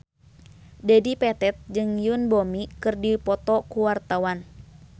Dedi Petet jeung Yoon Bomi keur dipoto ku wartawan